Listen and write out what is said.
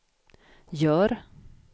gör